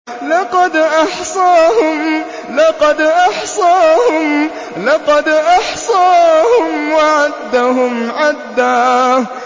لَّقَدْ أَحْصَاهُمْ وَعَدَّهُمْ عَدًّا